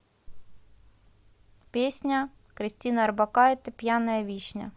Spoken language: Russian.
песня кристины орбакайте пьяная вишня